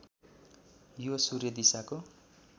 यो सूर्य दिशाको